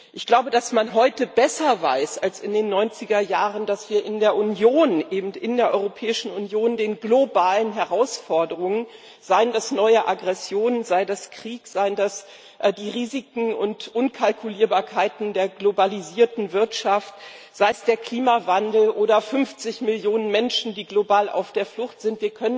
Ich glaube, dass man heute besser weiß als in den 90er Jahren, dass wir in der Europäischen Union den globalen Herausforderungen seien das neue Aggressionen, sei das Krieg, seien das die Risiken und Unkalkulierbarkeiten der globalisierten Wirtschaft, sei es der Klimawandel oder 50 Millionen Menschen, die global auf der Flucht sind